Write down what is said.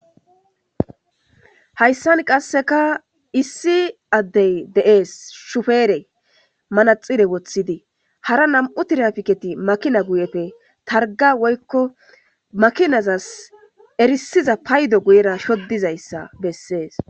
Haysan qaseka issi adey de'es shufere manaxire wothidi hara nam'u tirafiketi makina guyepe targa woyko makinazas erisiza peyddo guyera shodizaysa beses